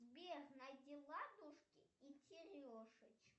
сбер найди ладушки и терешочки